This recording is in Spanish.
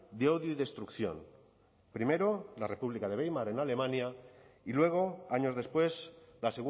de odio y destrucción primero la república de weimar en alemania y luego años después la